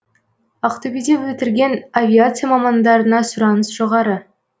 ақтөбеде бітірген авиация мамандарына сұраныс жоғары